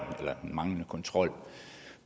manglende kontrol